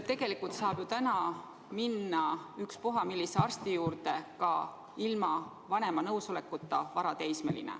Tegelikult saab ju varateismeline täna minna ükspuha millise arsti juurde ka ilma vanema nõusolekuta.